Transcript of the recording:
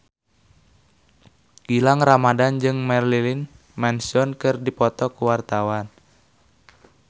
Gilang Ramadan jeung Marilyn Manson keur dipoto ku wartawan